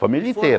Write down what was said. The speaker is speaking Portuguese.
Família inteira.